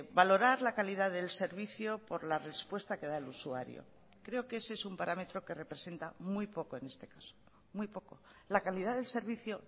valorar la calidad del servicio por la respuesta que da el usuario creo que ese es un parámetro que representa muy poco en este caso muy poco la calidad del servicio